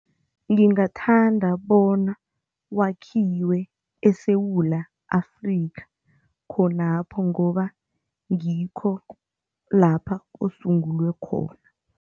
Ngingathanda bona wakhiwe eSewula Afrika khonapho ngoba ngikho lapha usungulwe khona.